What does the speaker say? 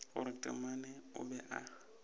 gore taamane o be a